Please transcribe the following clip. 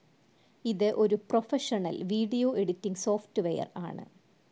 ഇത് ഒരു professional video editing software ആണ്.